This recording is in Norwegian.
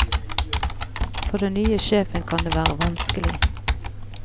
For den nye sjefen kan det være vanskelig.